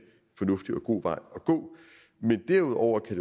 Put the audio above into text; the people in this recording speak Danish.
fornuftig og god vej at gå men derudover kan